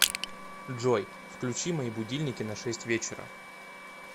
джой включи мои будильники на шесть вечера